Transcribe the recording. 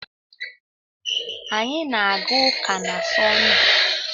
Anyị na-aga ụka na Sọnde.